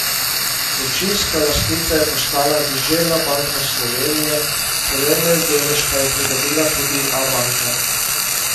Večinska lastnica je postala Deželna banka Slovenije, pomemben delež pa je pridobila tudi Abanka.